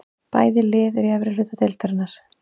Bæði lið eru í efri hluta deildarinnar.